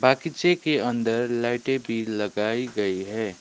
बागीचे के अंदर लाइटे भी लगाई गई है।